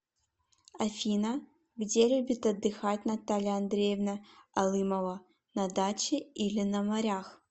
афина где любит отдыхать наталья андреевна алымова на даче или на морях